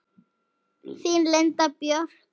Þín Linda Björk.